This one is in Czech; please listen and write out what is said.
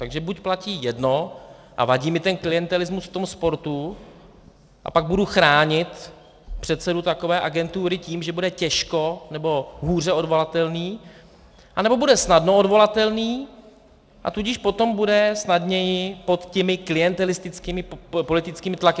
Takže buď platí jedno a vadí mi ten klientelismus v tom sportu, a pak budu chránit předsedu takové agentury tím, že bude těžko nebo hůře odvolatelný, anebo bude snadno odvolatelný, a tudíž potom bude snadněji pod těmi klientelistickými politickými tlaky.